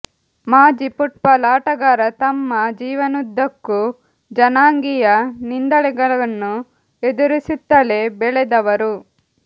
ಮಾಜಿ ಫುಟ್ಬಾಲ್ ಆಟಗಾರ ತಮ್ಮ ಜೀವನದುದ್ದಕ್ಕೂ ಜನಾಂಗೀಯ ನಿಂದನೆಗಳನ್ನು ಎದುರಿಸುತ್ತಲೇ ಬೆಳೆದವರು